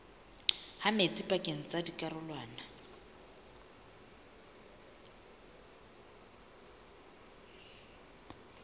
ha metsi pakeng tsa dikarolwana